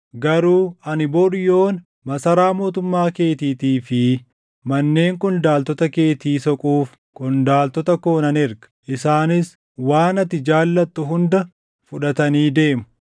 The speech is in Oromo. Garuu ani bor yoona masaraa mootummaa keetiitii fi manneen qondaaltota keetii soquuf qondaaltota koo nan erga. Isaanis waan ati jaallattu hunda fudhatanii deemu.’ ”